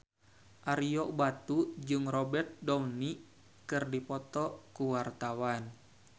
Ario Batu jeung Robert Downey keur dipoto ku wartawan